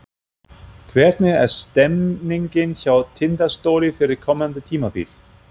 Hvernig er stemningin hjá Tindastóli fyrir komandi tímabil?